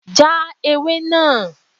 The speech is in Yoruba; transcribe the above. Já ewé náà!